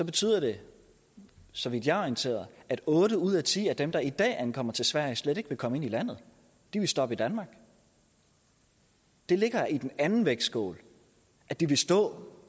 betyder det så vidt jeg er orienteret at otte ud af ti af dem der i dag ankommer til sverige slet ikke vil komme ind i landet de vil stoppe i danmark det ligger i den anden vægtskål at de vil stå